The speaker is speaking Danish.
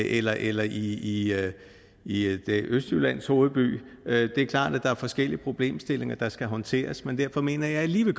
eller eller i i østjyllands hovedby det er klart at der er forskellige problemstillinger der skal håndteres men derfor mener jeg alligevel